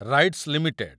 rights limited